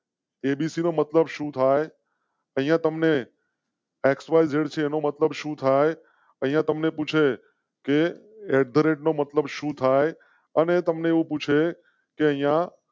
ABC મતલબ શું થાય? અહીં તમ ને. એક્સવાયઝેડ છે એનો મતલબ શું થાય? અહિયાં તમ ને પૂછે કે નો મતલબ શું થાય અને તમ ને પૂછે યા.